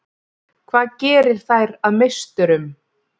Hvað gerir þær að meisturum?